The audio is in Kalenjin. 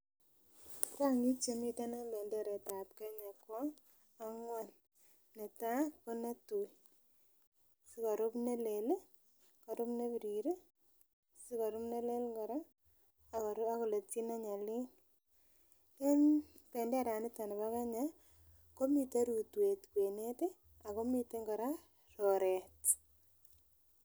Rang'ik chemiten en benderetab Kenya kobangwan, netaa ko netui sikorub nelel, korib nebirir, sikorub nelel kora ak koletyi ne nyalil, en benderaniton nibo Kenya komiten rotwet kwenet ak komiten kora oreet.